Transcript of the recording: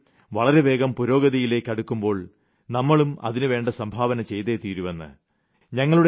നമ്മുടെ രാജ്യം വളരെ വേഗം പുരോഗതിയിലേയ്ക്ക് അടുക്കുമ്പോൾ നമ്മളും അതിനുവേണ്ട സംഭാവന ചെയ്തേ തീരുവെന്ന്